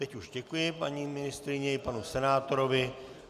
Teď už děkuji paní ministryni i panu senátorovi.